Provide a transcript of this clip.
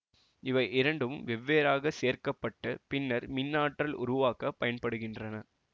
இவை இரண்டும் வெவ்வேறாக சேகரிக்கப்பட்டு பின்னர் மின்ஆற்றல் உருவாக்க பயன்படுத்த படுகின்றன